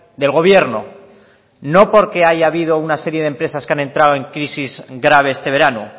del gobierno no porque haya habido una serie de empresas que han entrado en crisis grave este verano